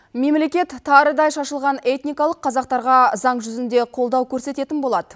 мемлекет тарыдай шашылған этникалық қазақтарға заң жүзінде қолдау көрсететін болады